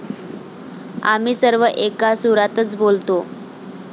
आम्ही सर्व एका सुरातच बोलतो.